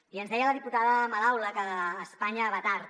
i ens deia la diputada madaula que espanya va tard